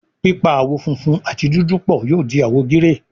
pipa àwo fúnfún àti dúdú pọ yóò di àwo gíréè